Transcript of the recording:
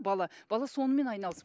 бала бала сонымен айналысып